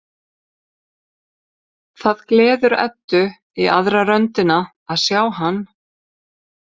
Það gleður Eddu í aðra röndina að sjá hann.